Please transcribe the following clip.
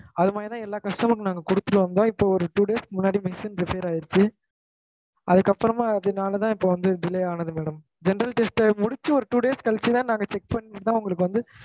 அது மாதிரி தான் எல்லா customer க்கும் நாங்க குடுத்துட்டு வந்தொம் இப்ப ஒரு two days முன்னாடி machine னு repair ஆகிடுச்சு அதுக்கு அப்புறமா அதுனால தான் delay ஆனது madam general test முடிச்சு ஒரு two days கழிச்சு தா check பன்ணிட்டு தான் வந்து